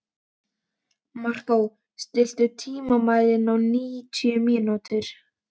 Markó, stilltu tímamælinn á níutíu mínútur.